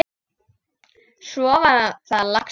Svo var það laxinn!